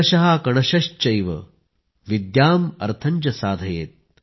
कणशश्चैव विद्याम् अर्थं च साधयेत् ।